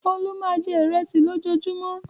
Olú máa jẹ ìrẹsì lójoojúmọ́.